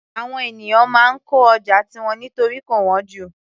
Àwọn ènìyàn máa ń kọ́ ọjà tiwọn nítorí kò wọ́n jù